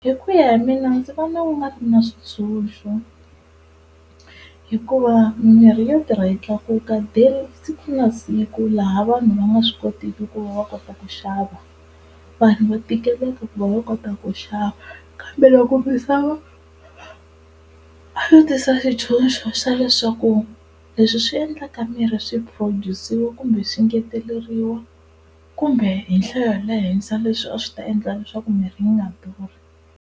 Hi ku ya hi mina ndzi vona ku nga ri na switshuxo, hikuva mimirhi yo tirha yi tlakuka day, siku na siku laha vanhu va nga swi kotiki ku va va kota ku xava vanhu va tikeleka ku va va kota ku xava. Kambe loko misava a yo tisa xitshuxo xa leswaku leswi swi endlaka mirhi swi phurojusiwa kumbe swi ngeteleriwa kumbe hi nhlayo ya le henhla leswi a swi ta endla leswaku mirhi yi nga durhi.